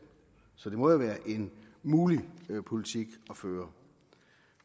så det må jo være en mulig politik at føre